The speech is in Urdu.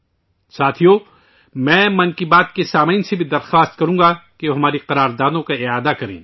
ساتھیو ، میں 'من کی بات ' کے سامعین سے بھی اپیل کروں گا کہ ہم اپنے عزائم کو پھر سے دوہرائیں